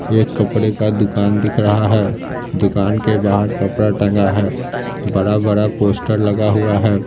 एक कपड़े का दुकान दिख रहा है दुकान के बाहर कपड़ा टंगा है बड़ा-बड़ा पोस्टर लगा हुआ है।